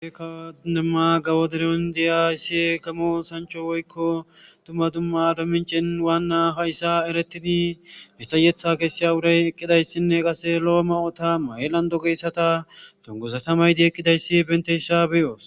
ekademma gawo deron diya issi kamo sancho woykko tumma dumma ado mincin waanna hayssa eretini misayetha kessiya wuray eqqidayssinne qase lo7o ma7ota mayelando geyssata tongosatamaydi eqqidayssi bentesha beyoos